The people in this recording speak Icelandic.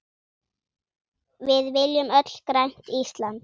Við viljum öll grænt Ísland.